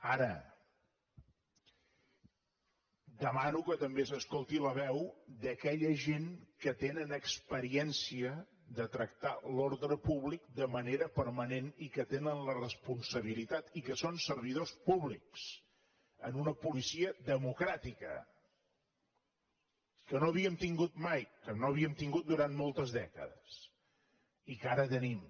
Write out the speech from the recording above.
ara demano que també s’escolti la veu d’aquella gent que tenen experiència de tractar l’ordre públic de manera permanent i que tenen la responsabilitat i que són servidors públics en una policia democràtica que no havíem tingut mai que no havíem tingut durant moltes dècades i que ara tenim